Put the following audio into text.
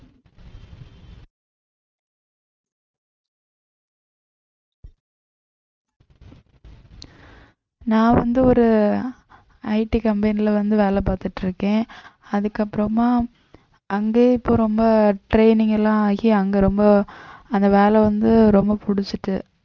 நான் வந்து ஒரு IT company ல வந்து வேலை பார்த்துட்டு இருக்கேன் அதுக்கப்புறமா அங்க இப்ப ரொம்ப training எல்லாம் ஆகி அங்க ரொம்ப அந்த வேலை வந்து ரொம்ப புடிச்சுச்சு